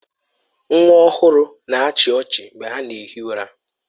Nwa ọhụrụ na-achị ọchị mgbe ha na ehi ụra.